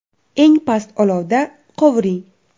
Eng past olovda qovuring.